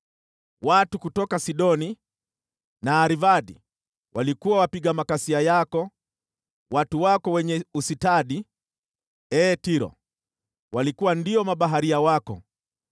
Watu kutoka Sidoni na Arvadi walikuwa wapiga makasia yako; watu wako wenye ustadi, ee Tiro, walikuwa ndio mabaharia wako.